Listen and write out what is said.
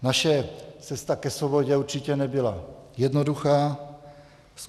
Naše cesta ke svobodě určitě nebyla jednoduchá.